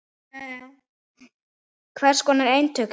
Hvers konar eintök eru það?